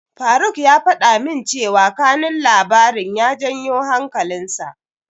Faruk ya faɗa min cewa kanun labarin ya janyo hankalinsa.